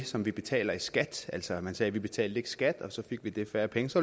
det som vi betaler i skat altså at man sagde at vi ikke betalte skat og så fik de færre penge så